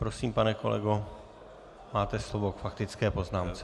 Prosím, pane kolego, máte slovo k faktické poznámce.